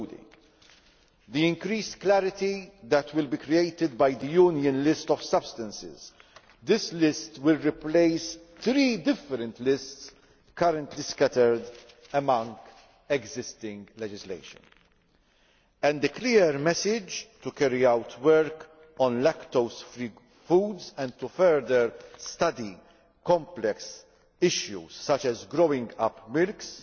These include the increased clarity that will be created by the Union list of substances this list will replace three different lists currently scattered among existing legislation and the clear message to carry out work on lactose free foods and to further study complex issues such as growing up milks'